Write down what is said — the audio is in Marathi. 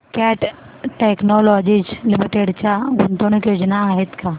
कॅट टेक्नोलॉजीज लिमिटेड च्या गुंतवणूक योजना आहेत का